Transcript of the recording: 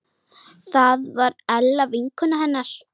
Það var Ella vinkona hennar.